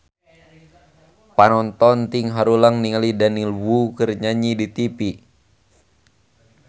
Panonton ting haruleng ningali Daniel Wu keur nyanyi di tipi